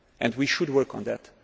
the lack of trust. We should